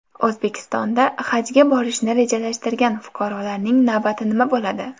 O‘zbekistonda Hajga borishni rejalashtirgan fuqarolarning navbati nima bo‘ladi?